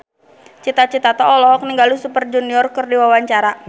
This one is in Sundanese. Cita Citata olohok ningali Super Junior keur diwawancara